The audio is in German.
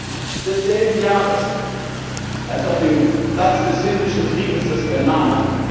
4. Juni desselben Jahres, als auf dem Platz des Himmlischen Friedens was für ein Name!